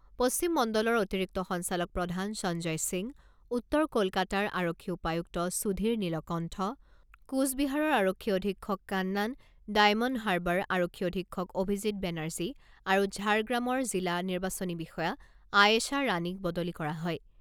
পশ্চিম মণ্ডলৰ অতিৰিক্ত সঞ্চালক প্ৰধান সঞ্জয় সিং, উত্তৰ কলকাতাৰ আৰক্ষী উপায়ুক্ত সুধীৰ নীলকণ্ঠ, কোচবিহাৰৰ আৰক্ষী অধীক্ষক কান্নান, ডায়মণ্ড হাৰ্বাৰ আৰক্ষী অধীক্ষক অভিজিত বেনাৰ্জী আৰু ঝাৰগ্ৰামৰ জিলা নিৰ্বাচনী বিষয়া আয়েশা ৰাণীক বদলি কৰা হয়।